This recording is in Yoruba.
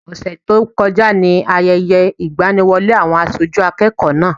Ọ̀sẹ̀ tó kọjá ni Ayẹyẹ ìgbaniwọlé àwọn aṣojú akẹ́kọ̀ọ́ náà.